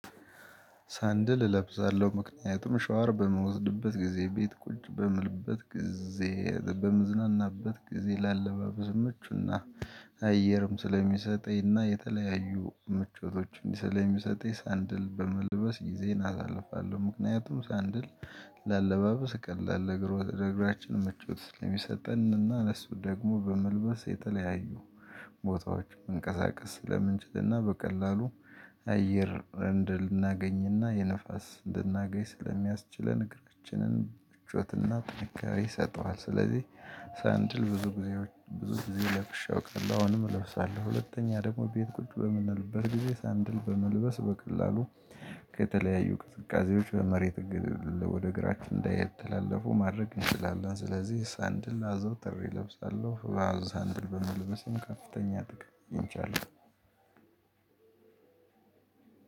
ሳንድል እለብዛለሁ። ምክንያቱም ሻወር በምወስድበት ጊዜ፣ ቤት ቁጭ በምልበት ጊዜ፣ በመዝናናበት ጊዜ ላለባብስ ምቹና አየርም ስለሚሰጠኝና የተለያዩ ምቾቶችን ስለሚሰጠኝ ሰንድል በመልበስ ጊዜን አሳልፋለሁ ምክንያቱም ሳንድል ለአለባበስ ቀላል እግሮ ለእግራችን ምቾት ስሚሰጠንና ለሱ ደግሞ በመልበስ የተለያዩ ቦታዎች መንቀሳቀስ ስለምንችልና በቀላሉ አየር እንድናገኝና የንፋስ ልናገኝ ስለሚያስችለን እግሮችንን ብቾትና ጥንካሬ ይሰጠዋል። ስለዚህ ሳንድል ብዙ ጊዜ ብዙ ጊዜ ለብሼ አውቅተን አሁንም እለብሳለሁ ሁለተኛ ደግሞ ቤት ቁጭ በምንልበት ጊዜ ሳንድል በመልበስ በቀላሉ ከተለያዩ ቅድቃዜዎች በመሬት ግድል ወደ እግራችን እንዳይተላለፉ ማድረግ እንችላለን። ስለዚህ ሳንድል አዘውትሬ እለብሳለሁ ሳንድል በመልበስም ከፍተኛ ጥቅም ይንቻል።